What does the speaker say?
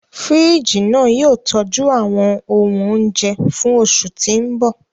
Fíríjì náà yóò tọ́jú àwọn ohun oúnjẹ fún oṣù tí ń bọ̀